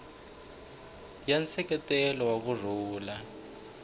ya nseketelo wa ku rhula